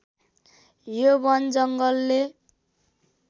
यो वन जङ्गलले